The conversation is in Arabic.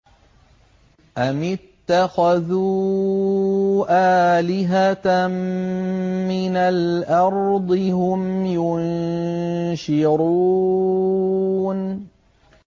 أَمِ اتَّخَذُوا آلِهَةً مِّنَ الْأَرْضِ هُمْ يُنشِرُونَ